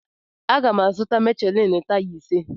Agam azụ Michelin taya ise.